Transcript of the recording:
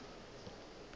se ka ka ka bona